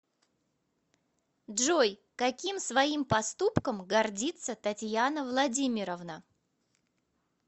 джой каким своим поступком гордится татьяна владимировна